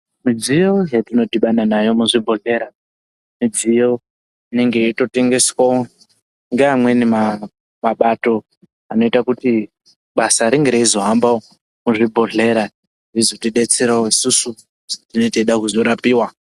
Midziyo yetinodhibana nayo muzvibhodhlera, midziyo inenge yeitotengeswawo ngeamweni mabato, anoita kuti basa ringe reizohamba muzvibhedhlera zvizotidetserawo isusu petinenge teida kuzorapiwa.